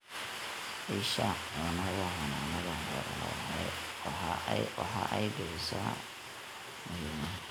Isha Cunnada Xannaanada xoolaha waxa ay bixisaa alaabo muhiim ah.